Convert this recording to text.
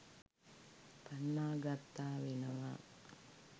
පන්නා ගත්තා වෙනවා.